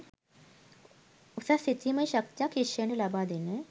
උසස් සිතීමේ ශක්තියක් ශිෂ්‍යයින්ට ලබා දෙන